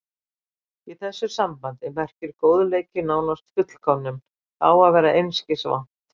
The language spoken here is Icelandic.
Í þessu sambandi merkir góðleiki nánast fullkomnun, það að vera einskis vant.